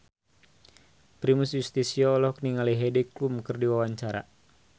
Primus Yustisio olohok ningali Heidi Klum keur diwawancara